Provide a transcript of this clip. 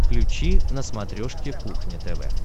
включи на смотрешке кухня тв